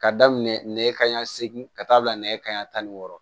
Ka daminɛ nɛgɛ kanɲɛ segin ka taa bila nɛgɛ kanɲɛ tan ni wɔɔrɔ